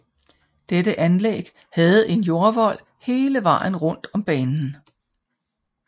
Dette anlæg havde en jordvold hele vejen rundet om banen